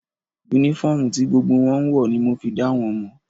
Únífọ́ọ̀mù ti gbogbo wọn ń wọ̀ ní mo fi dá wọn mọ̀